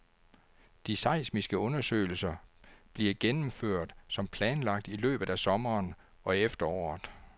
De seismiske undersøgelser bliver gennemført som planlagt i løbet af sommeren og efteråret.